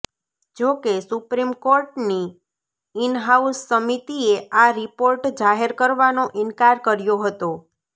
જોકે સુપ્રીમ કોર્ટની ઈનહાઉસ સમિતિએ આ રિપોર્ટ જાહેર કરવાનો ઈનકાર કર્યો હતો